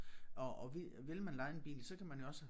Og og vi vil man leje en bil så kan man jo også